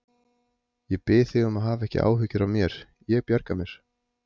Ég bið þig um að hafa ekki áhyggjur af mér, ég bjarga mér.